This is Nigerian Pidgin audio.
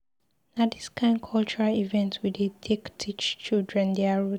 Na dis kain cultural event we dey take teach children their root.